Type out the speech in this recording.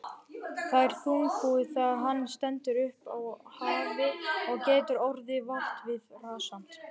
Það er þungbúið þegar hann stendur upp á af hafi og getur orðið votviðrasamt.